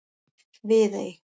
Viðey